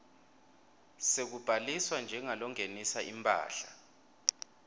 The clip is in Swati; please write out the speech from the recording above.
sekubhaliswa njengalongenisa imphahla